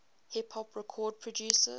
hip hop record producers